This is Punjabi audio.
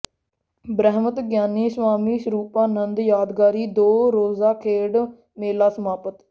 ਬ੍ਰਹਮ ਗਿਆਨੀ ਸਵਾਮੀ ਸਰੂਪਾ ਨੰਦ ਯਾਦਗਾਰੀ ਦੋ ਰੋਜ਼ਾ ਖੇਡ ਮੇਲਾ ਸਮਾਪਤ